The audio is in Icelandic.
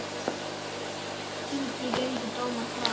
Þingi gengu dómar frá.